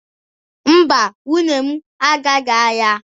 Mba, nwunye m agaghị ahịa.